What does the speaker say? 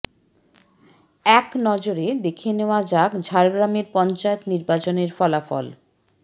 এক নজরে দেখে নেওয়া যাক ঝাড়গ্রামের পঞ্চায়েত নির্বাচনের ফলাফল